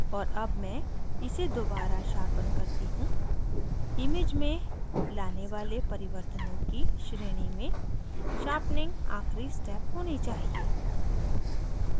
और अब chain इसे दोबारा sharpen करती हूँ image में लाने वाले परिवर्तनों की श्रेणी में sharpening आखिरी step होनी चाहिए